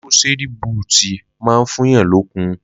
Lúkòsédì bútì mà ń fún yàn lòkún.